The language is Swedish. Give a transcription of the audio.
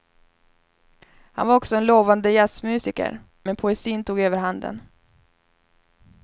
Han var också en lovande jazzmusiker, men poesin tog överhanden.